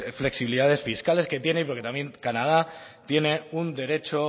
flexibilidades fiscales que tiene porque también canadá tiene un derecho